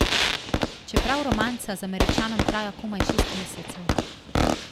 Čeprav romanca z Američanom traja komaj šest mesecev.